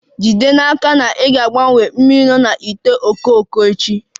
Jide n'aka na ị na-agbanwe mmiri na ite ifuru echi